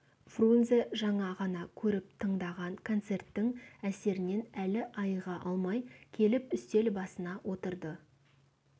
фрунзе жаңа ғана көріп-тыңдаған концерттің әсерінен әлі айыға алмай келіп үстел басына отырды